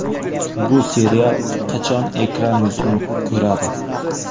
Bu serial qachon ekran yuzini ko‘radi?